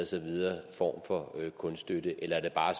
så videre form for kunststøtte eller er der bare